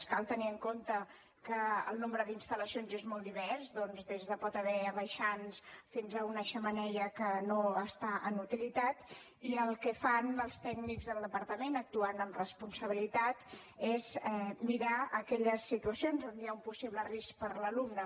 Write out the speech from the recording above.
cal tenir en compte que el nombre d’instal·lacions és molt divers doncs hi pot haver des de baixants fins a una xemeneia que no està en utilitat i el que fan els tècnics del departament actuant amb responsabilitat és mirar aquelles situacions on hi ha un possible risc per a l’alumne